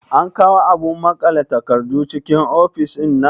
An kawo abun maƙale takardu cikin ofis ɗinnan?